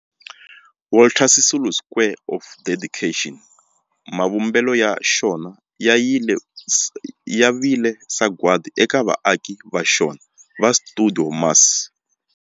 Walter Sisulu Square of Dedication, mavumbelo ya xona ya vile sagwadi eka vaaki va xona va stuidio MAS.